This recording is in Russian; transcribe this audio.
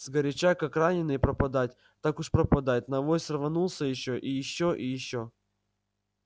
сгоряча как раненый пропадать так уж пропадать на авось рванулся ещё и ещё и ещё